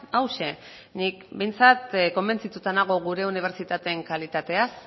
hauxe nik behintzat konbentzituta nago gure unibertsitateen kalitateaz